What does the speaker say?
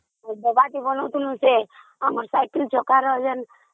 ଡବାଟା ବନାଉଥିଲୁ ଆମ ସାଇକେଲ ଚକର ଯୋଉ..